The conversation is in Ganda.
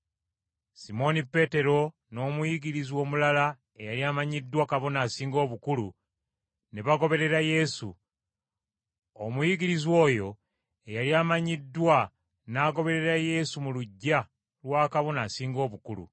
Simooni Peetero n’omuyigirizwa omulala eyali amanyiddwa Kabona Asinga Obukulu, ne bagoberera Yesu. Omuyigirizwa oyo eyali amanyiddwa n’agoberera Yesu mu luggya lwa Kabona Asinga Obukulu,